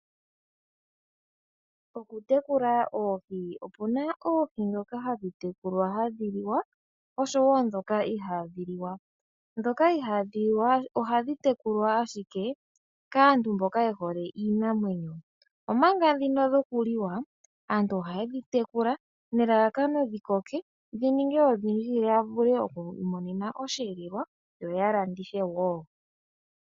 Okutekula oohi, opuna oohi ndhoka hadhi tekulwa hadhi liwa oshowo ndhoka ihaadhi liwa. Ndhoka ihaadhi liwa ohadhi tekulwa ashike kaantu mboka yehole iinamwenyo, omanga ndhino dhokuliwa aantu ohaye dhi tekula nelalakano ndhi koke ndhi ninge odhindji ya vule okwii monena osheelelwa yo ya landithe wo.